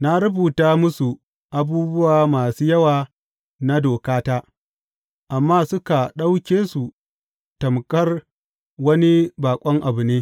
Na rubuta musu abubuwa masu yawa na dokata, amma suka ɗauke su tamƙar wani baƙon abu ne.